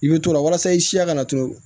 I bɛ t'o la walasa i siya kana to